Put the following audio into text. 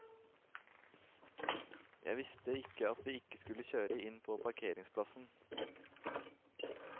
Jeg visste ikke at vi ikke skal kjøre inn på parkeringsplassen.